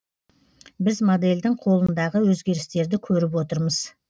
біз модельдің қолындағы өзгерістерді көріп отырмыз